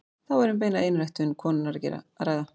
Þá væri um beina einræktun konunnar að ræða.